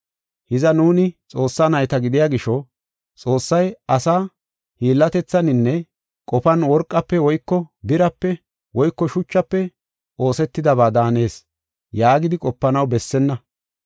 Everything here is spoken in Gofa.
Hiza, nuuni Xoossaa nayta gidiya gisho, ‘Xoossay asa hiillatethaninne qofan worqafe woyko birape woyko shuchafe oosetidaba daanees’ yaagidi qopanaw bessenna.